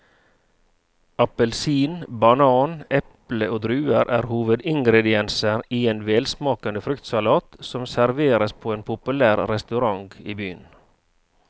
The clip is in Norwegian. Appelsin, banan, eple og druer er hovedingredienser i en velsmakende fruktsalat som serveres på en populær restaurant i byen.